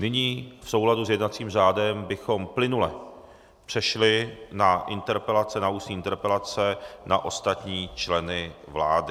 Nyní v souladu s jednacím řádem bychom plynule přešli na ústní interpelace na ostatní členy vlády.